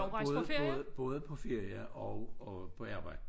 Både både både på ferie og og på arbejde